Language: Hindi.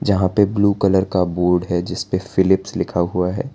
जहां पे ब्लू कलर का बोर्ड है जिस पे फिलिप्स लिखा हुआ है।